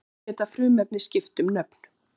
Þannig geta frumefnin skipt um nöfn.